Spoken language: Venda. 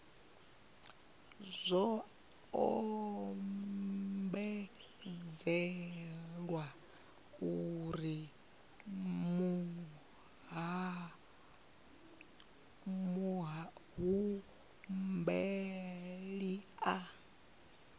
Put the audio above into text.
zwo ombedzelwa uri muhumbeli a